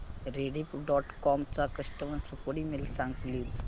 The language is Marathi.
रेडिफ डॉट कॉम चा कस्टमर सपोर्ट ईमेल सांग प्लीज